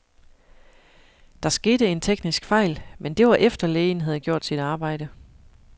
Der skete en teknisk fejl, men det var efter, lægen havde gjort sit arbejde.